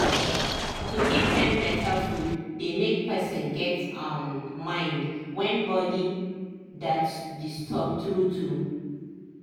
to give dem better food dey make person get um mind when body thet disturb true true